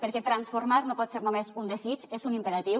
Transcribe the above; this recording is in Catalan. perquè transformar no pot ser només un desig és un imperatiu